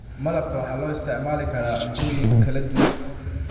Malabka waxaa loo isticmaali karaa cuntooyin kala duwan.